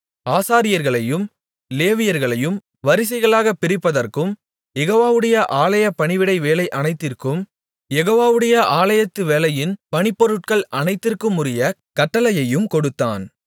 ஆசாரியர்களையும் லேவியர்களையும் வரிசைகளாக பிரிப்பதற்கும் யெகோவாவுடைய ஆலய பணிவிடைவேலை அனைத்திற்கும் யெகோவாவுடைய ஆலயத்து வேலையின் பணிபொருட்கள் அனைத்திற்குமுரிய கட்டளையையும் கொடுத்தான்